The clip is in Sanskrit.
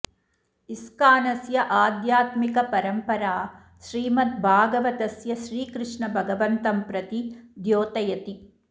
इस्कानस्य आध्यात्मिक परंपरा श्रीमद् भागवतस्य श्रीकृष्ण भगवन्तं प्रति ध्योतयति